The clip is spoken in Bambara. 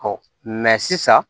mɛ sisan